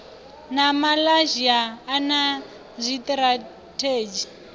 na malaysia a na zwitirathedzhi